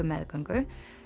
meðgöngu